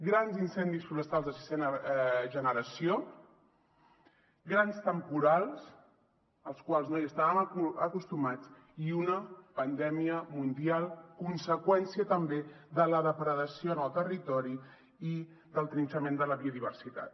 grans incendis forestals de sisena generació grans temporals als quals no estàvem acostumats i una pandèmia mundial conseqüència també de la depredació en el territori i del trinxament de la biodiversitat